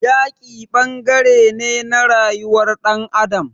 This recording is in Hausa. Yaki ɓangaren ne na rayuwar ɗan adam.